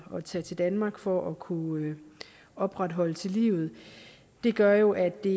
at tage til danmark for at kunne opretholde livet gør jo at det